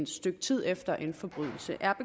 stykke tid efter en forbrydelse er